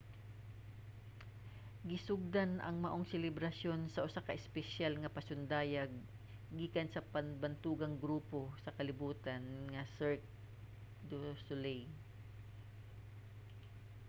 gisugdan ang maong selebrasyon sa usa ka espesyal nga pasundayag gikan sa bantugang grupo sa kalibutan nga cirque du soleil